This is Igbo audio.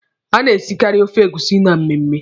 A na-esikaari ofe egusi na mmemme.